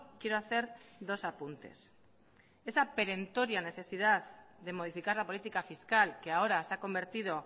quiero hacer dos apuntes esta perentoria necesidad de modificar la política fiscal que ahora se ha convertido